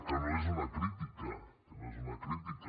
que no és una crítica que no és una crítica